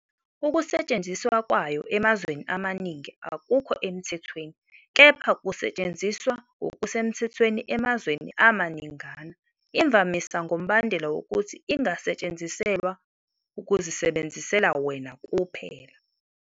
Ukusetshenziswa kwayo emazweni amaningi akukho emthethweni kepha kusetshenziswa ngokusemthethweni emazweni amaningana imvamisa ngombandela wokuthi ingasetshenziselwa ukuzisebenzisela wena kuphela.